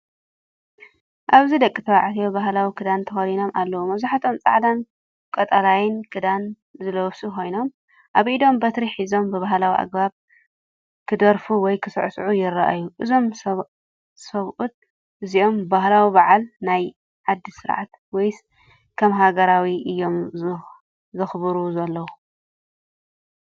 ኣብዚ ደቂ ተባዕት ባህላዊ ክዳን ተኸዲኖም ኣለዉ። መብዛሕትኦም ጻዕዳን ቀጠልያን ክዳን ዝለበሱ ኮይኖም፡ ኣብ ኢዶም በትሪ ሒዞም ብባህላዊ ኣገባብ ክደርፋ ወይ ክስዕስዑ ይረኣዩ። እዞም ሰብኡት እዚኦም ባህላዊ በዓል፡ ናይ ዓዲ ስርዓት፡ ወይስ ከም ሃገራዊ እዮም ዘክብሩ ዘለው?